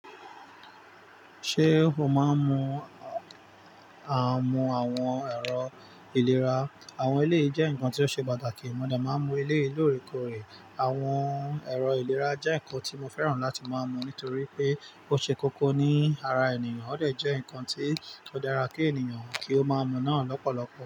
Ṣé o máa ń mu? Àmù àwọn ẹ̀rọ ìlera? Àwọn eléyii jẹ́ nǹkan tí ó ṣe pàtàkì, mo de máa ń mu eleyi lóorekoore. Àwọn ẹ̀rọ ìlera jẹ́ nǹkan tí mo fẹ́ràn láti máa mu nítorí pé ó ṣe kókó ní ara ènìyàn, ó de jẹ́ nǹkan tí ó dára kí ènìyàn kí ó máa mu náà lọ́pọ̀lọpọ̀.